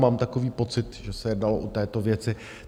Mám takový pocit, že se jednalo o této věci.